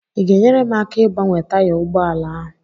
Ị ga-enyere m aka ịgbanwe taya ụgbọ ala a?